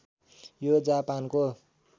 यो जापानको